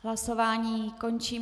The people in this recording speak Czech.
Hlasování končím.